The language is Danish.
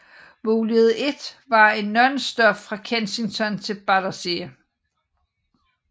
Mulighed 1 var en nonstop fra Kennington til Battersea